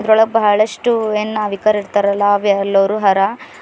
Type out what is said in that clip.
ಒಳಗ್ ಬಹಳಷ್ಟು ಏನ್ ನಾವಿಕರ್ ಇರ್ತರಲಾ ಅವ್ ಎಲ್ಲರೂ ಹರ.